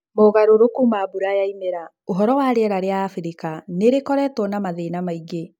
Mogarũrũku ma mbura ya imera. ũhoro wa rĩera rĩa Abirika nĩrĩkiretwo na mathĩna maingĩ.